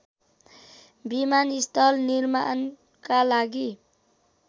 विमानस्थल निर्माणका लागि